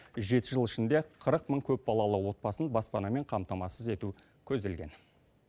жеті жыл ішінде қырық мың көпбалалы отбасын баспанамен қамтамасыз ету көзделген